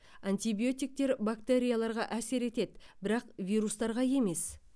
атибиотиктер бактерияларға әсер етеді бірақ вирустарға емес